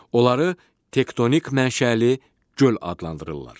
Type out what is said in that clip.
Onları tektonik mənşəli göl adlandırırlar.